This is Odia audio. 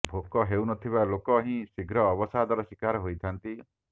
ଭୋକ ହେଉନଥିବା ଲୋକ ହିଁ ଶୀଘ୍ର ଅବସାଦର ଶିକାର ହୋଇଥାନ୍ତି